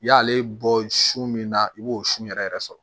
I y'ale bɔ su min na i b'o sun yɛrɛ yɛrɛ sɔrɔ